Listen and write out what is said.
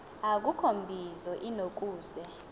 akukho mbizo inokuze